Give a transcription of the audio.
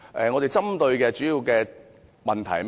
我們主要針對的問題是甚麼？